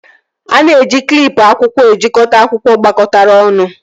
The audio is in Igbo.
A na-eji klịp akwụkwọ ejikọta akwụkwọ gbakọtara ọnụ